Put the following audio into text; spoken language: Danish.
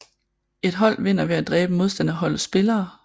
Et hold vinder ved at dræbe modstanderholdets spillere